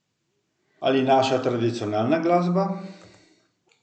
Ali naša tradicionalna glasba?